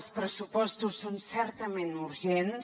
els pressupostos són certament urgents